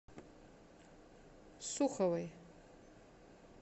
суховой